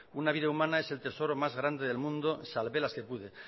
una vida humana es el tesoro más grande del mundo salvé las que pude